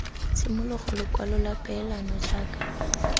tshimologo lekwalo la peelano jaaka